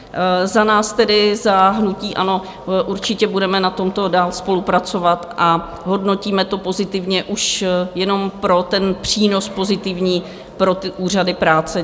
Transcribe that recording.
Za nás tedy, za hnutí ANO, určitě budeme na tomto dál spolupracovat a hodnotíme to pozitivně, už jenom pro ten přínos pozitivní pro úřady práce.